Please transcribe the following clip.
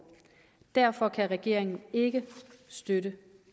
derfor kan regeringen ikke støtte